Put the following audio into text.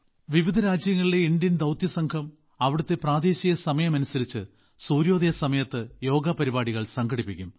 വിവിധ രാജ്യങ്ങളിലെ ഇന്ത്യൻ ദൌത്യസംഘം അവിടത്തെ പ്രാദേശിക സമയം അനുസരിച്ച് സൂര്യോദയ സമയത്ത് യോഗ പരിപാടികൾ സംഘടിപ്പിക്കും